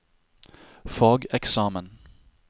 fageksamen